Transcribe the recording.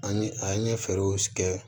An ɲe a ye fɛɛrɛw sigi